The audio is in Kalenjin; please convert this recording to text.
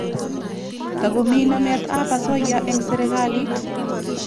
Tagomi namet ap asoya eng' sirikalit.